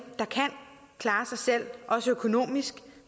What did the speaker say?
der kan klare sig selv også økonomisk